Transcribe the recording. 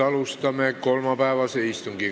Alustame kolmapäevast istungit.